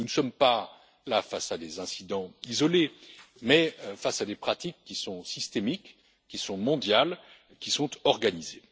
Nous ne sommes pas là face à des incidents isolés, mais face à des pratiques qui sont systémiques, qui sont mondiales et qui sont organisées.